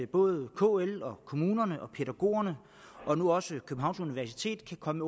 både kl kommunerne og pædagogerne og nu også københavns universitet kan komme